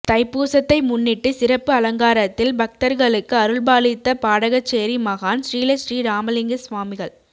தைப்பூசத்தை முன்னிட்டு சிறப்பு அலங்காரத்தில் பக்தர்களுக்கு அருள்பாலித்த பாடகச்சேரி மகான் ஶ்ரீலஶ்ரீ ராமலிங்கசுவாமிகள்